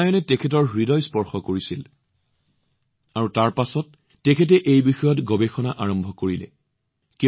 ৰামায়ণয়ে তেওঁৰ হৃদয় স্পৰ্শ কৰিছিল ইয়াৰ পিছত তেওঁ গভীৰভাৱে গৱেষণা আৰম্ভ কৰিছিল